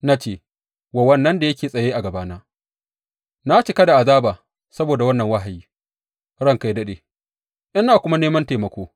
Na ce wa wannan da yake tsaye a gabana, Na cika da azaba saboda wannan wahayi, ranka yă daɗe, ina kuma neman taimako.